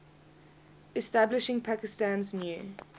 establishing pakistan's new